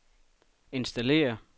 installere